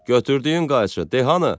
Götürdüyün qayçı, de hanı?